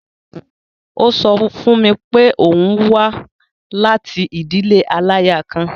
Ó sọ fún mi pé òun wá láti ìdílé aláya kan.